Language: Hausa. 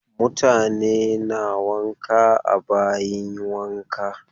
Mutane na wanka a bayin wanka.